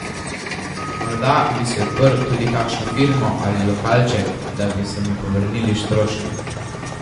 Morda bi si odprl tudi kakšno firmo ali lokalček, da bi se mi povrnili stroški.